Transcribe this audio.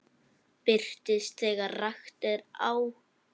Birtist þegar rakt er á.